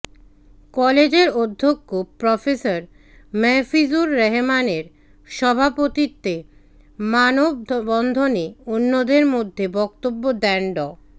কলেজের অধ্যক্ষ প্রফেসর মাহফিজুর রহমানের সভাপতিত্বে মানববন্ধনে অন্যদের মধ্যে বক্তব্য দেন ড